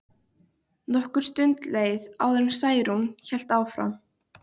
Nokkur stund leið áður en Særún hélt áfram.